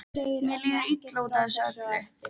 Mér líður illa út af þessu öllu.